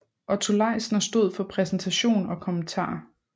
Otto Leisner stod for præsentation og kommentarer